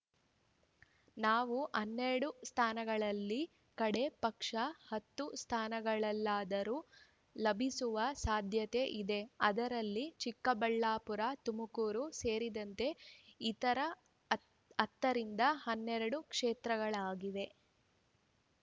ನಾವು ಹನ್ನೆರಡು ಸ್ಥಾನಗಳಲ್ಲಿ ಕಡೆ ಪಕ್ಷ ಹತ್ತು ಸ್ಥಾನಗಳಾದರೂ ಲಭಿಸುವ ಸಾಧ್ಯತೆ ಇದೆ ಅದರಲ್ಲಿ ಚಿಕ್ಕಬಳ್ಳಾಪುರ ತುಮಕೂರು ಸೇರಿದಂತೆ ಇತರ ಹ್ ಹತ್ತರಿಂದ ಹನ್ನೆರಡು ಕ್ಷೇತ್ರಗಳಾಗಿವೆ